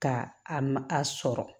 Ka a ma a sɔrɔ